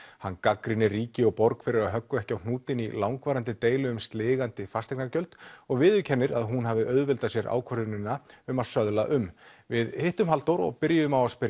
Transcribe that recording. hann gagnrýnir ríki og borg fyrir að höggva ekki á hnútinn í langvarandi deilu um sligandi fasteignagjöld og viðurkennir að hún hafi auðveldað sér ákvörðunina um að söðla um við hittum Halldór og byrjuðum á að spyrja